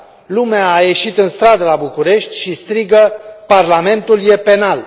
Lumea a ieșit în stradă la București și strigă Parlamentul e penal!.